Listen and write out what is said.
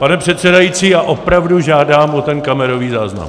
Pane přesedající, já opravdu žádám o ten kamerový záznam!